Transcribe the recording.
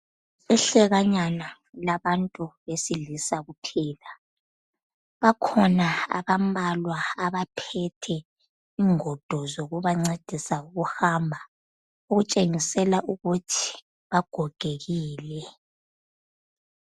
Ihlekanyana labantu besilisa kuphela. Bakhona abambalwa abaphethe ingodo zokubancedisa ukuhamba. Okutshengisa ukuthi bagogekile.